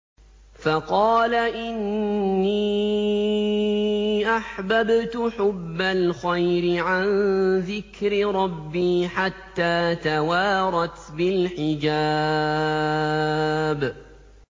فَقَالَ إِنِّي أَحْبَبْتُ حُبَّ الْخَيْرِ عَن ذِكْرِ رَبِّي حَتَّىٰ تَوَارَتْ بِالْحِجَابِ